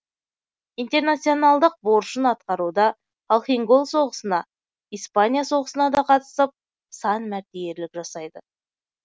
интернационалдық борышын атқаруда халхин гол соғысына испания соғысына да қатысып сан мәрте ерлік жасайды